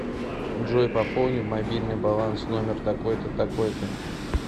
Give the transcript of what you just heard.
джой пополни мобильный баланс номер такой то такой то